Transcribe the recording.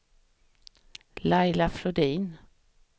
Laila Flodin